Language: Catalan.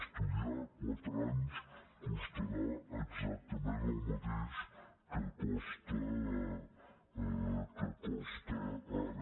estudiar quatre anys costarà exactament el mateix que costa ara